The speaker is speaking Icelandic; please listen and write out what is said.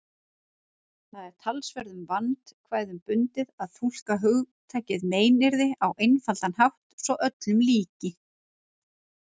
Það er talsverðum vandkvæðum bundið að túlka hugtakið meiðyrði á einfaldan hátt svo öllum líki.